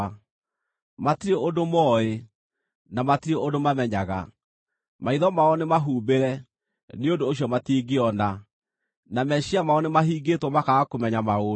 Matirĩ ũndũ mooĩ, na matirĩ ũndũ mamenyaga; maitho mao nĩmahumbĩre, nĩ ũndũ ũcio matingĩona, na meciiria mao nĩmahingĩtwo makaaga kũmenya maũndũ.